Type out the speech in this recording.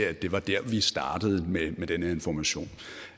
at det var der vi startede med denne information